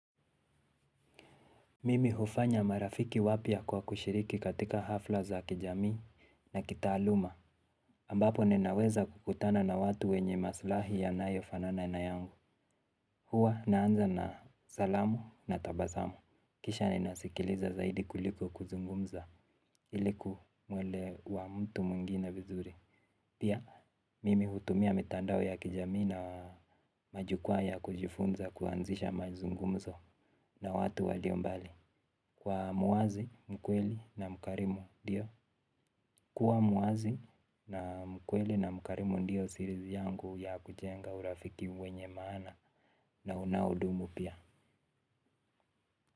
Mimi hufanya marafiki wapya kwa kushiriki katika hafla za kijami na kitaaluma ambapo ninaweza kukutana na watu wenye maslahi yanayofanana na yangu. Huwa naanza na salamu na tabasamu. Kisha ninasikiliza zaidi kuliko kuzungumza iliku mwelewa mtu mwingine vizuri. Pia mimi hutumia mitandao ya kijami na majukwa ya kujifunza kuanzisha mazungumzo na watu walio mbali. Kwa muazi, mkweli na mkarimu ndio. Kwa muazi na mkweli na mkarimu ndio siri yangu ya kujenga urafiki wenye maana na unaudumu pia.